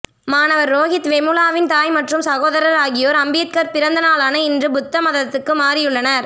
மாணவர் ரோகித் வெமுலாவின் தாய் மற்றும் சகோதரர் ஆகியோர் அம்பேத்கர் பிறந்த நாளான இன்று புத்த மதத்துக்கு மாறியுள்ளனர்